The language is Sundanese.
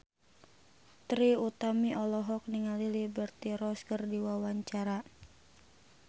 Trie Utami olohok ningali Liberty Ross keur diwawancara